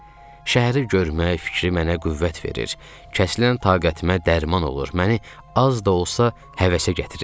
Şəhəri görmək fikri mənə qüvvət verir, kəsilən taqətimə dərman olur, məni az da olsa həvəsə gətirirdi.